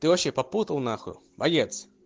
ты вообще попутал нахуй боец